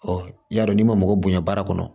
y'a dɔn n'i ma mɔgɔ bonya baara kɔnɔ